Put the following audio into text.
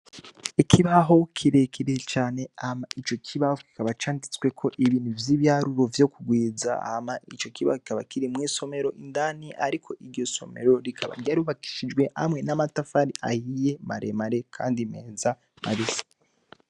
Ikibaho kirekirire cane ama ico kibaho kikaba canditsweko ibintu vy'ibyaharuro vyo kugwiza ama ico kiba kikaba kiri mwisomero indani, ariko iryo somero rikaba ryarubakishijwe hamwe n'amatafari ayiye maremare, kandi meza mabisa.